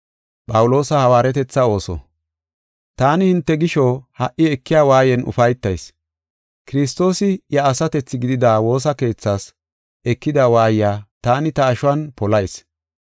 Taani hinte gisho ha77i ekiya waayan ufaytayis. Kiristoosi iya asatethi gidida woosa keethaas ekida waayiya taani ta ashuwan polayis.